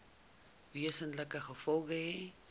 wesenlike gevolge hê